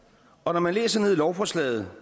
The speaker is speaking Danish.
og når man læser i lovforslaget